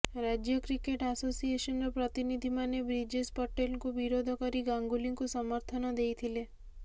ରାଜ୍ୟ କ୍ରିକେଟ ଆସୋସିଏସନ୍ର ପ୍ରତିନିଧିମନେ ବ୍ରିଜେଶ ପଟେଲଙ୍କୁ ବିରୋଧକରି ଗାଙ୍ଗୁଲିଙ୍କୁ ସମର୍ଥନ ଦେଇଥିଲେ